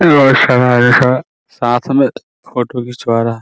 बहुत सारा साथ मे फोटो खिचवा रहा है ।